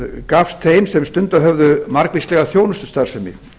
gafst þeim sem stundað höfðu margvíslega þjónustustarfsemi